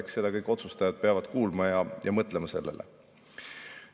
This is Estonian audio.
Ja seda kõik otsustajad peavad kuulma ja mõtlema sellele.